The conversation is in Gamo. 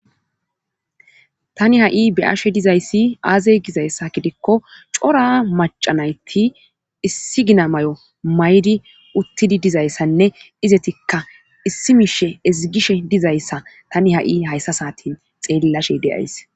tani ha7i be7ashe dizayssi aaze gizayssa gidikko cora macanayti issi gina may7o maydi uttidi dizayssanne izetikka issi mishe ezigishe dizayssa tani ha7i hayssa saatin xeellashe de7ays